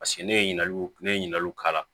Paseke ne ye ɲininkaliw ne ye ɲininkaliw k'a la